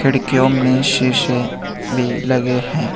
खिड़कियों में शीशे भी लगे हैं।